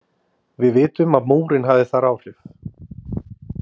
Við vitum að Múrinn hafði þar áhrif.